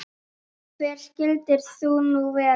Og hver skyldir þú nú vera?